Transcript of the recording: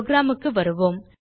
program க்கு வருவோம்